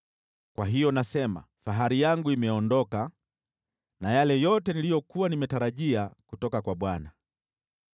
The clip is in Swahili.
Kwa hiyo nasema, “Fahari yangu imeondoka na yale yote niliyokuwa nimetarajia kutoka kwa Bwana .”